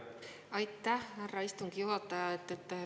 Aitäh, härra istungi juhataja!